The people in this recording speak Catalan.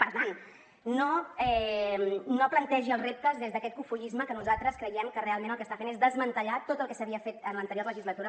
per tant no plantegi els reptes des d’aquest cofoisme que nosaltres creiem que realment el que està fent és desmantellar tot el que s’havia fet en l’anterior legislatura